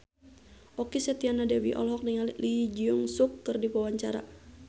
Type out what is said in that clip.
Okky Setiana Dewi olohok ningali Lee Jeong Suk keur diwawancara